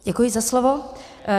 Děkuji za slovo.